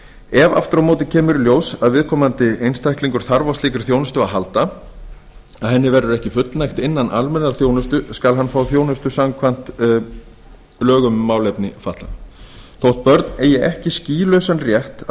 ef aftur á móti kemur í ljós að viðkomandi einstaklingur þarf á slíkri þjónustu að halda að henni verður ekki fullnægt innan almennrar þjónustu skal hann fá þjónustu samkvæmt lögum um málefni fatlaðra þótt börn eigi ekki skýlausan rétt á